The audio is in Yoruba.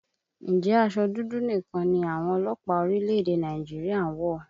Ǹjẹ́ aṣọ dúdú nìkan ni àwọn ọlọ́pàá orílẹ̀èdè Nàìjíríà ń wọ̀?